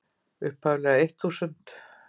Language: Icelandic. upphaflega eitt þúsund.